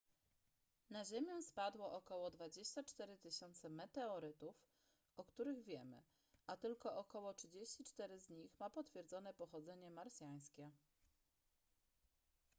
na ziemię spadło około 24 000 meteorytów o których wiemy a tylko około 34 z nich ma potwierdzone pochodzenie marsjańskie